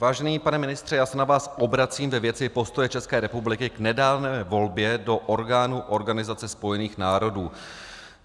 Vážený pane ministře, já se na vás obracím ve věci postoje České republiky k nedávné volbě do orgánů Organizace spojených národů.